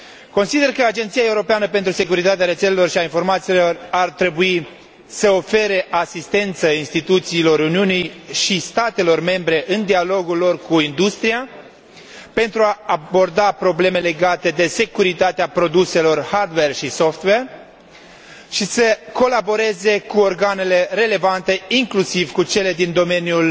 Consider că Agenția Europeană pentru Securitatea Rețelelor și a Informațiilor ar trebui să ofere asistență instituțiilor Uniunii și statelor membre în dialogul lor cu acest sector industrial, pentru a aborda probleme legate de securitatea produselor hardware și software și să colaboreze cu organele relevante, inclusiv cu cele din domeniul